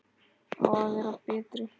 Á að vera betri.